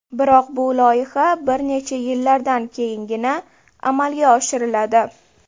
Biroq bu loyiha bir necha yillardan keyingina amalga oshiriladi.